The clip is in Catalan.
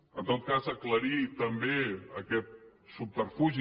en tot cas aclarir també aquest subterfugi